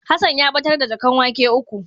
Hassan ya batar da jaƙan wake uku.